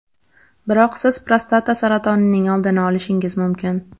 Biroq siz prostata saratonining oldini olishingiz mumkin.